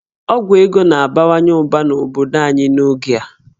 Ọgwụ ego na-abawanye ụba n'obodo anyị n'oge a